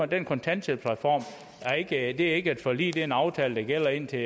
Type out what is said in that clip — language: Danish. den kontanthjælpsreform er ikke et forlig det er en aftale der gælder indtil